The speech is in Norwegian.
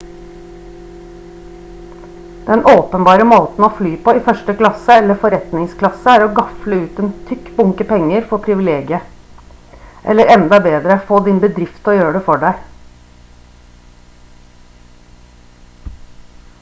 den åpenbare måten å fly på i første klasse eller forretningsklasse er å gafle ut en tykk bunke penger for privilegiet eller enda bedre få din bedrift til å gjøre det for deg